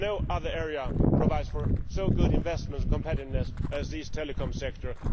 No other area provides such good investment and competitiveness as these telecom sectors.